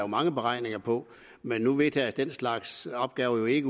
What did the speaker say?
mange beregninger på men nu vedtages den slags opgaver jo ikke